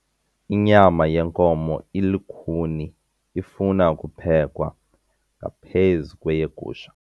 Inyama yenkomo ilukhuni ifuna ukuphekwa ngaphezu kweyegusha.